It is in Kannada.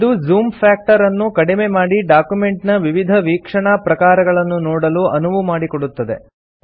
ಇದು ಜೂಮ್ ಫ್ಯಾಕ್ಟರ್ ಅನ್ನು ಕಡಿಮೆ ಮಾಡಿ ಡಾಕ್ಯುಮೆಂಟ್ ನ ವಿವಿಧ ವೀಕ್ಷಣಾ ಪ್ರಕಾರಗಳನ್ನು ನೋಡಲು ಅನುವು ಮಾಡಿಕೊಡುತ್ತದೆ